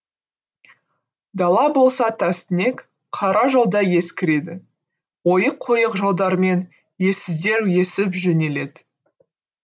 дала болса тастүнек қара жолда ескіреді ойық ойық жолдармен ессіздер есіп жөнеледі